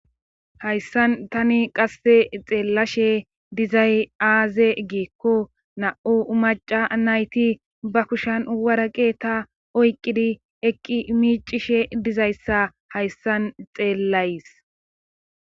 hayssan tani qasse xeellashe dizay aaze giikko na7u maca nayti ba kushan waraqeta oyqqidi eqqi miicishe dizayssa hayssan xeellays